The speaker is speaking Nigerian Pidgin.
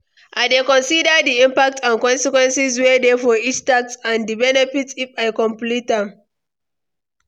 I dey consider di impact and consequences wey dey for each task and di benefit if i complete am.